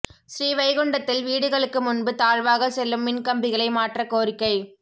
ஸ்ரீவைகுண்டத்தில் வீடுகளுக்கு முன்பு தாழ்வாக செல்லும் மின் கம்பிகளை மாற்றக் கோரிக்கை